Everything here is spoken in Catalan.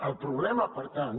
el problema per tant